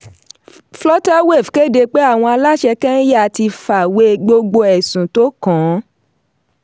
flutterwave kéde pé àwọn aláṣẹ kẹ́ńyà ti fàwé gbogbo ẹ̀sùn tó kàn-án.